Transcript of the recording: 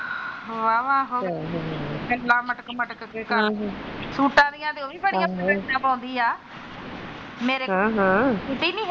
ਵਾਹ ਵਾਹ ਗੱਲਾ ਮਟਕ ਮਟਕ ਕੇ ਕਰਦੀ ਸੂਟਾ ਦੀਆਂ ਤੇ ਉਹ ਵੀ ਬੜੀਆਂ ਸਨੈਪਾ ਪਾਉਂਦੀ ਆ ਹਾ ਹਾ।